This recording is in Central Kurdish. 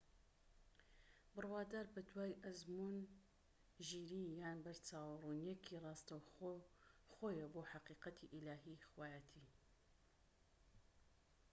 بڕوادار بە دوای ئەزموون، ژیری یان بەرچاوڕوونیەکی ڕاستەوخۆیە بۆ حەقیقەتی ئیلاهی/خوایەتی